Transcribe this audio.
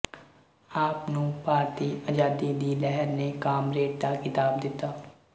ਆਪ ਨੂੰ ਭਾਰਤੀ ਅਜ਼ਾਦੀ ਦੀ ਲਹਿਰ ਨੇ ਕਾਮਰੇਡ ਦਾ ਖਿਤਾਬ ਦਿਤਾ